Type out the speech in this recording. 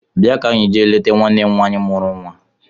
Bịa ka anyị ga leta nwanne m nwaanyị mụrụ nnwa!